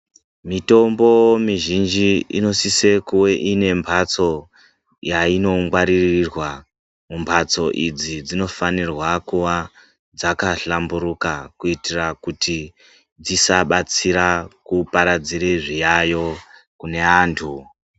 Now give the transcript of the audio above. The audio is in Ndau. Mitombo mizhinji inosise kuve inembatso yainongwaririrwa, mbatso idzi dzinofanirwa kuva dzakahlamburuka kuitira kuti dzisabatsira kuparadzire zviyayiyo kune antu.